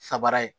Sabara ye